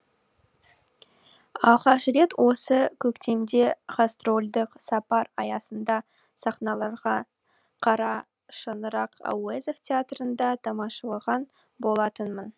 алғаш рет осы көктемде гастрольдік сапар аясында сахналанған қара шаңырақ әуезов театрында тамашалаған болатынмын